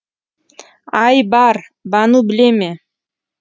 айбар бану біле ме